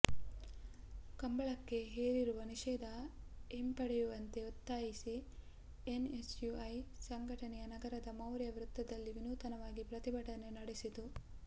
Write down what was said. ಕಂಬಳಕ್ಕೆ ಹೇರಿರುವ ನಿಷೇಧ ಹಿಂಪಡೆಯುವಂತೆ ಒತ್ತಾಯಿಸಿ ಎನ್ಎಸ್ಯುಐ ಸಂಘಟನೆ ನಗರದ ಮೌರ್ಯ ವೃತ್ತದಲ್ಲಿ ವಿನೂತನವಾಗಿ ಪ್ರತಿಭಟನೆ ನಡೆಸಿತು